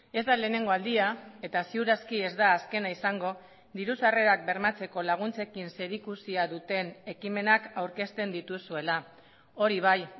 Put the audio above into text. ez da lehenengo aldia eta ziur aski ez da azkena izango diru sarrerak bermatzeko laguntzekin zerikusia duten ekimenak aurkezten dituzuela hori bai